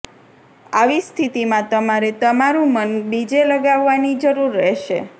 આવી સ્થિતિમાં તમારે તમારું મન બીજે લગાવવાની જરૂર રહેશે